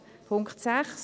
Punkt 6